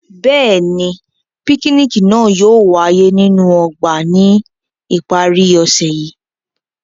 Bẹ́ẹ̀ni, pikiniki naa yóò waye ninu ọgba ni ipari ose yii.